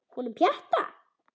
Honum Pjatta?